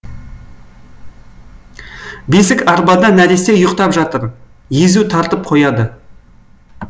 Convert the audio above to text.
бесік арбада нәресте ұйықтап жатыр езу тартып қояды